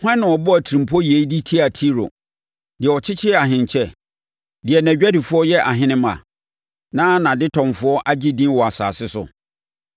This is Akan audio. Hwan na ɔbɔɔ atirimpɔ yei de tiaa Tiro, deɛ ɔkyekyɛ ahenkyɛ, deɛ nʼadwadifoɔ yɛ ahene mma, na nʼadetɔnfoɔ agye din wɔ asase so?